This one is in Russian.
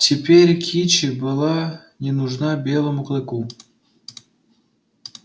теперь кичи была не нужна белому клыку